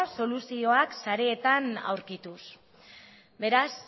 soluzioak sareetan aurkituz beraz